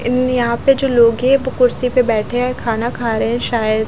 इन यहाँ पे जो लोग हैं वो कुर्सी पे बैठे है खाना खा रहे है शायद।